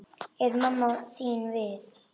Er mamma þín við?